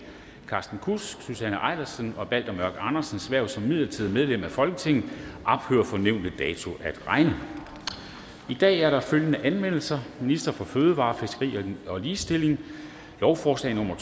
carsten kudsks susanne eilersens og balter mørk andersens hverv som midlertidige medlemmer af folketinget ophører fra nævnte dato at regne i dag er der følgende anmeldelser ministeren for fødevarer fiskeri og ligestilling lovforslag nummer